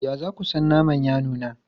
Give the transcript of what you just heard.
Ya za ku san naman ya nuna?